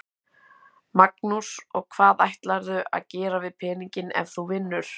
Magnús: Og hvað ætlarðu að gera við peninginn ef þú vinnur?